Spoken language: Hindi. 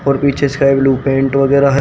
और पीछे पेंट वगैरह है।